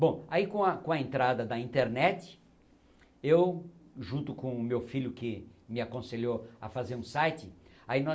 Bom, aí com a com a entrada da internet, eu junto com o meu filho que me aconselhou a fazer um site, aí nós